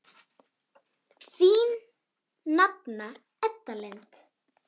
Þín nafna Edda Lind.